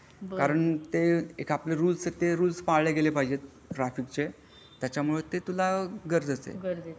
कारण ते एक आपले रूल्स आहे ते पाळल्या गेले पाहजे ट्राफिक चे त्याचमुळे ते तुला गरजेचं आहे.